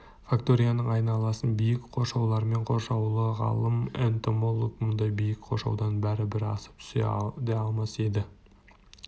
факторияның айналасы биік қоршаулармен қоршаулы ғалым-энтомолог мұндай биік қоршаудан бәрібір асып түсе де алмас еді